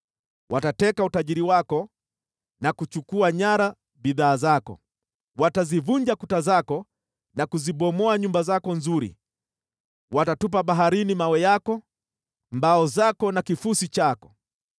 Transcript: Watateka utajiri wako na kuchukua nyara bidhaa zako, watazivunja kuta zako na kuzibomoa nyumba zako nzuri, watatupa baharini mawe yako, mbao zako na kifusi chako.